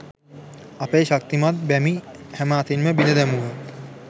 අපේ ශක්තිමත් බැමි හැම අතින්ම බිඳ දැමුවා.